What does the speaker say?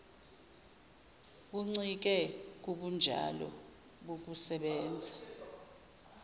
buncike kubunjalo bokusebenza